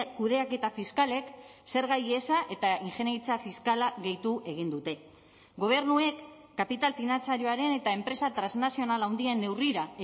kudeaketa fiskalek zerga ihesa eta ingeniaritza fiskala gehitu egin dute gobernuek kapital finantzarioaren eta enpresa transnazional handien neurrira